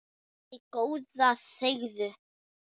Æ, góða þegiðu.